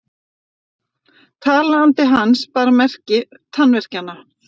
Talandi hans bar merki tannverkjanna.